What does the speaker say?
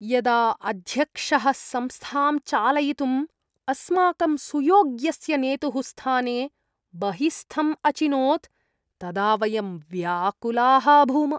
यदा अध्यक्षः संस्थां चालयितुम् अस्माकं सुयोग्यस्य नेतुः स्थाने बहिस्थम् अचिनोत् तदा वयं व्याकुलाः अभूम।